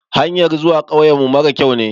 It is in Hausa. Hanyar zuwa kauyen mu mara kyau ne.